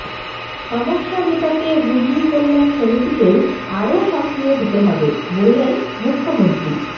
সমস্যা মেটাতে রুগি কল্যাণ সমিতিকেও আরও সক্রিয় হতে হবে বললেন মুখ্যমন্ত্রী